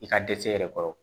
I ka dɛsɛ yɛrɛ kɔrɔ